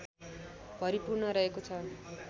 भरिपूर्ण रहेको छ